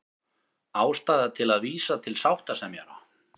Ástæða til að vísa til sáttasemjara